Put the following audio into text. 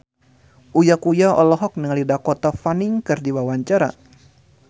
Uya Kuya olohok ningali Dakota Fanning keur diwawancara